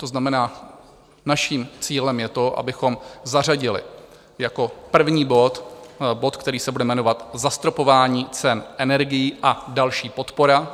To znamená, naším cílem je to, abychom zařadili jako první bod bod, který se bude jmenovat Zastropování cen energií a další podpora.